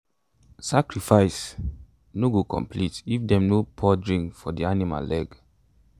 sacrifice um no go complete if them no pour drink for the animal leg.